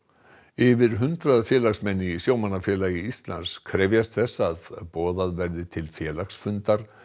yfir hundrað félagsmenn í Sjómannafélagi Íslands krefjast þess að boðað verði til félagsfundar